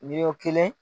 Miliyɔn kelen